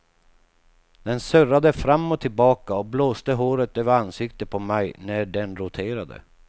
Den surrade fram och tillbaka och blåste håret över ansiktet på mig när den roterade.